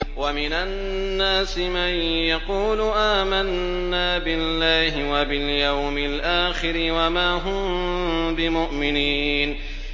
وَمِنَ النَّاسِ مَن يَقُولُ آمَنَّا بِاللَّهِ وَبِالْيَوْمِ الْآخِرِ وَمَا هُم بِمُؤْمِنِينَ